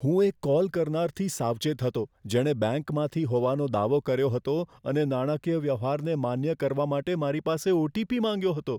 હું એક કોલ કરનારથી સાવચેત હતો, જેણે બેંકમાંથી હોવાનો દાવો કર્યો હતો અને નાણાકીય વ્યવહારને માન્ય કરવા માટે મારી પાસે ઓ.ટી.પી. માંગ્યો હતો.